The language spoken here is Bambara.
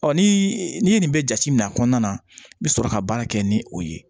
Ɔ ni n'i ye nin bɛ jate min a kɔnɔna na i bɛ sɔrɔ ka baara kɛ ni o ye